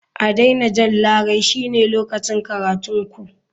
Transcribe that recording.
A daina jan larai shine lokacin karatun ku.